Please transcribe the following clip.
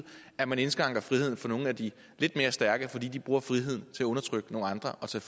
at man indskrænker friheden for nogle af de lidt mere stærke fordi de bruger friheden til at undertrykke nogle andre og tage